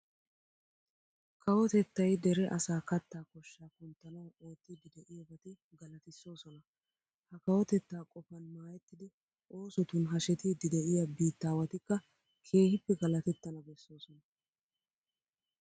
Kawotettay dere asaa kattaa koshshaa kunttanawu oottiiddi de'iyobati galatissoosona. Ha kawotettaa qofan maayettidi oosotun hashetiiddi de'iya biittaawatikka keehippe galatettana bessoosona.